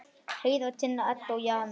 Heiða, Tinna, Edda og Jana.